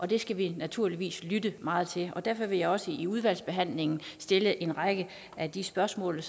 det skal vi naturligvis lytte meget til og derfor vil jeg også i udvalgsbehandlingen stille en række af de spørgsmål